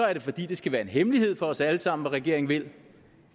er det fordi det skal være en hemmelighed for os alle sammen hvad regeringen vil